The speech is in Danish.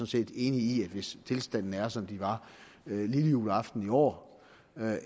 set enig i at hvis tilstanden er som den var lillejuleaften sidste år